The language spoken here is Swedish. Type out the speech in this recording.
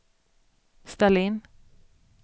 ställ in